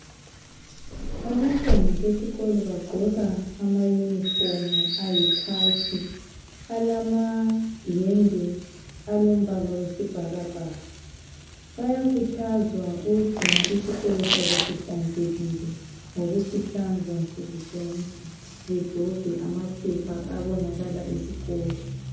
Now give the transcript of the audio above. Abantwana besikolo bagqoka ana uniform ayikhakhi balamayembe alombala wesibhakabhaka bayakhuthazwa ukungcina isikolo sabo sihlanzekile ngokusihlanza sukuzonke bedobhe amapaper abonakala esikolo